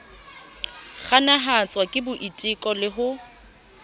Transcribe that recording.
kganahatswa ke boitelo le ho